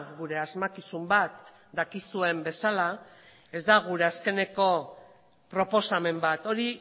gure asmakizun bat dakizuen bezala ez da gure azkeneko proposamen bat hori